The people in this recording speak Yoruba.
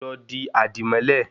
Lọ di àdìmọ́lẹ̀